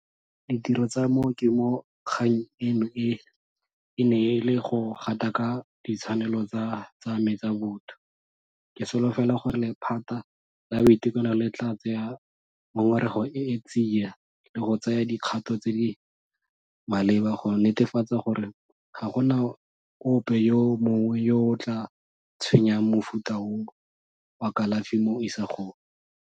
Ditiro tsa mo ke mo kgang eno e, e ne e le go gataka ditshwanelo tsa me tsa botho. Ke solofela gore lephata la boitekanelo le tla tsaya ngongorego e tsia le go tsaya dikgato tse di maleba go netefatsa gore ga gona ope yo mongwe yo o tla tshwenyang mofuta o wa kalafi mo isagong.